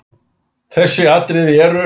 Þessi atriði eru